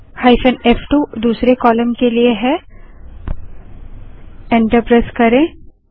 hyphen फ़2 दूसरे column के लिए एंटर प्रेस करें